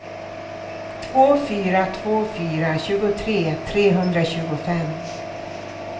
två fyra två fyra tjugotre trehundratjugofem